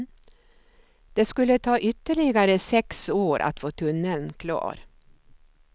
Det skulle ta ytterligare sex år att få tunneln klar.